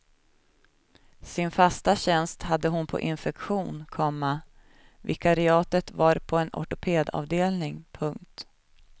Sin fasta tjänst hade hon på infektion, komma vikariatet var på en ortopedavdelning. punkt